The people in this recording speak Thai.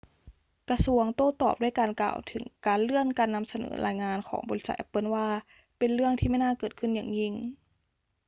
กระทรวงโต้ตอบด้วยการกล่าวถึงการเลื่อนการนำเสนอรายงานของบริษัทแอปเปิลว่า เป็นเรื่องที่ไม่น่าเกิดขึ้นอย่างยิ่ง